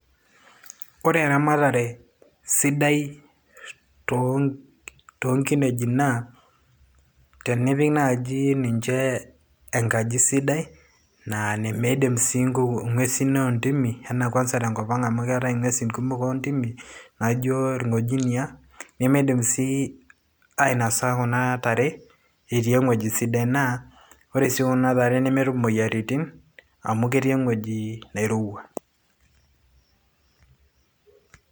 Ore eramatare sidai too nkineji naa, tenipik naaji ninche engaji sidai naa nemeidim sii ng'wesin oo ntimi anaa kwanza te enkop ang' amu keetai ng'wesin kumok oo ntimi naajo irng'ojinia nemeidim sii ainasa kuna tare etii eweji sidai, naa kore sii kuna tare nemetum imoyiaritin amu ketii eweji nairowua.